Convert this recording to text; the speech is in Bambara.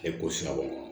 E ko sira bɔ